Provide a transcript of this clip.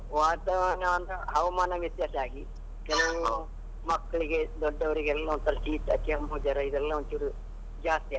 ವಾತಾವರಣ ಹವಾಮಾನ ವ್ಯತ್ಯಾಸವಾಗಿ ಮಕ್ಕಳಿಗೆ ದೊಡ್ಡವರಿಗೆ ಎಲ್ಲ ಒಂದ್ಸಲ ಶೀತ, ಕೆಮ್ಮು, ಜ್ವರ ಇದೆಲ್ಲಾ ಒಂಚೂರು ಜಾಸ್ತಿ ಆಗ್ತದೆ.